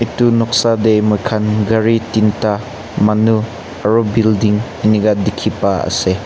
etu noksa te moi khan gari tinta manu aru building eninka dekhi pa ase.